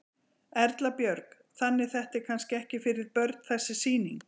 Erla Björg: Þannig þetta er kannski ekki fyrir börn þessi sýning?